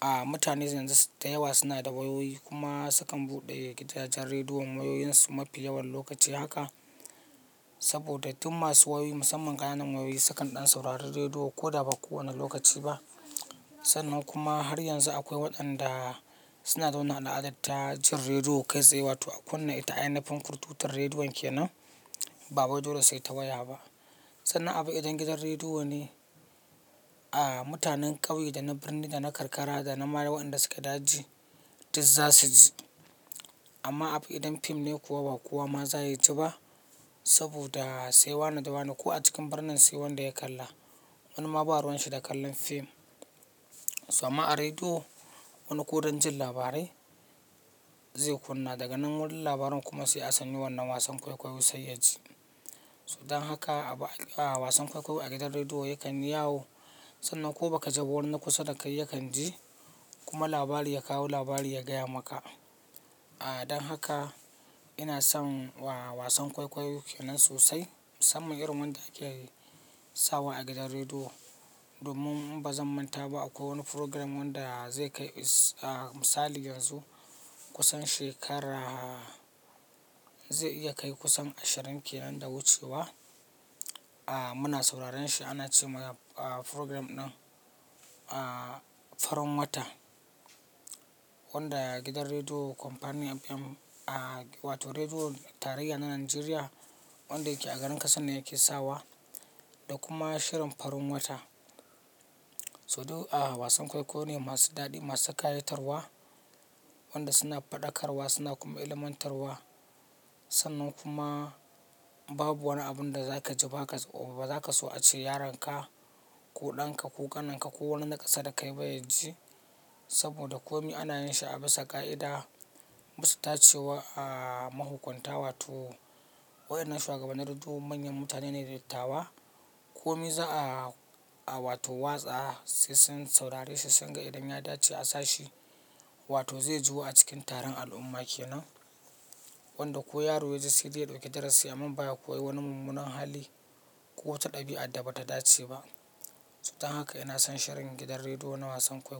a mutane yanzu dayawa suna da wayoyi kuma sukan buɗe gidajen rediyon wayoyinsu mafi yawan lokaci haka. Saboda duk masu wayoyi musamman ƙananan wayoyi sukan ɗan saurari rediyo ko da ba ko wane lokaci ba. Sannan kuma har yanzu akwai waɗanda suna zaune a daɗatta jin rediyo kai tsaye wato a kunna ita a yanayin kurtutar rediyon ke nan ba waido le saita waya ba. Sannan abu idan gidan rediyo ne a mutanen ƙauye da na birni da na karkara da na marayu waɗanda suke daji duk za su ji. Amma abu idan fim ne kuwa ba kowa ma za ya ji ba saboda sai wane da wane ko a cikin birnin sai wanda ya kalla wani mabaruwanshi da kallon fim. So amma a rediyo wannan ko don jin labarai. Zai kunna daganan wurin labaran kuma sai a sanya wannan wasan kwaikwayon sai yaji. So dan haka a wasan kwaikwayo a gidan rediyo yakan yawo sannan ko baka ji ba wanina kusa da kai yakan ji kuma labari ya kawo labari ya gaya maka. A dan haka ina son wasan kwaikwayo ke nan sosai musamman irin wanda ake yi sawa a gidan rediyo domin ba zan manta ba akwai wani program wanda zai kai misali yanzu kusan shekara zai iya kai kusan ashirin ke nan da wucewa. A muna sauraren shi ana ce masa program ɗin Farin Wata wanda gidan rediyo Company FM a wato Rediyo Tarayya na Najeriya wanda yake a garin Katsina yake sawa da kuma shirin Farin Wata. So duk a wasan kwaikwayo ne masu daɗi, masu kayatarwa, wanda suna faɗakarwa suna kuma ilmantarwa. Sannan kuma babu wani abun da zaka ji ba kaza ba zaka so a ce yaronka ko ɗan ka ko ƙanin ka ko wani na ƙasa da kai bai ji saboda kome ana yin shi a bisa ƙa'ida. Bisa tace wa a mahukunta wato wayar nan shuwagabannin rediyon manyan mutane ne dattatawa kome za'a a wato watsa sai sun saurari sai singa idan ya dace a sashi wato zai jiwu a cikin taron al'umma ke nan wanda ko yaro ya ji sai zai ɗauki darasi amma baya ko yi wani mummunan hali ko wata ɗabi'a da bata dace ba. So dan haka ina son shirin gidan rediyo na wasan kwaikwayo.